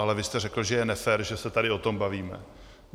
Ale vy jste řekl, že je nefér, že se tady o tom bavíme.